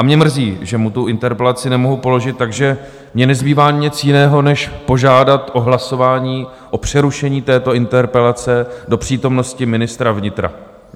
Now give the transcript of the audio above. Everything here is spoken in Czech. A mě mrzí, že mu tu interpelaci nemohu položit, takže mně nezbývá nic jiného než požádat o hlasování o přerušení této interpelace do přítomnosti ministra vnitra.